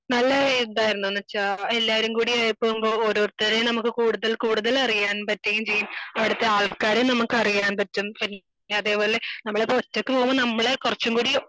നല്ല എന്താന്ന് വെച്ചാൽ എല്ലാരും കൂടിയായി പോകുമ്പോ ഓരോരുത്തരേം നമുക്ക് കൂടുതൽ കൂടുതൽ അറിയാൻ പറ്റുകയും ചെയ്യും. അവിടുത്തെ ആൾക്കാരെ നമുക്ക് അറിയാൻ പറ്റും ചെയ്യും. അതേ പോലെ നമ്മളിപ്പോൾ ഒറ്റക്ക് പോകുമ്പോ നമ്മളെ കുറച്ചും കൂടി